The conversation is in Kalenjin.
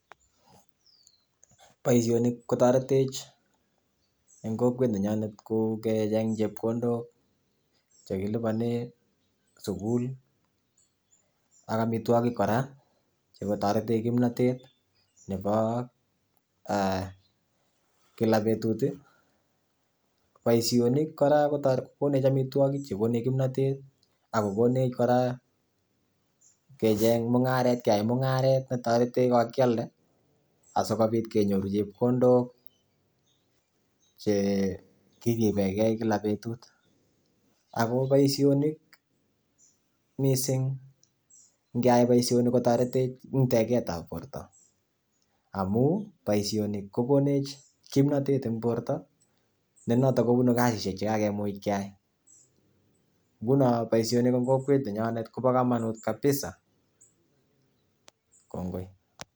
Boishoni kotoretech en kokwet nenyonet kocheng chepkondook chekiliponen sukul ak amitwogiik kora si kotoretech kimnotet nebo e kila betut. Boishoni kora kokonech amitwogik chekonech kimnotet, ako kokonech kora keyaai mungaret. Toretech ko kakialdei asikobiit kenyooru chepkondok chekiriben gei kila betut. Ako boishoni missing, ingeyai boishoni kotoretech, amun boishoni kokonech kimnotet en borto nenootok kubunu kasisiek cheimuch keyai. Ngunon boishonii en kokwet nenyonet kobo komonut kabisa.